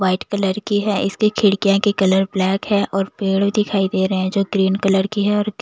white colour की है इसकी खिड़कियाँ की कलर ब्लैक है और पेड़ भी दिखाई दे रहे हैं जो ग्रीन कलर की है और--